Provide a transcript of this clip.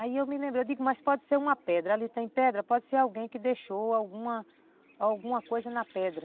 Aí eu me lembrei, eu digo, mas pode ser uma pedra, ali tem pedra, pode ser alguém que deixou alguma, alguma coisa na pedra.